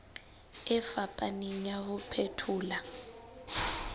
e fapaneng ya ho phethola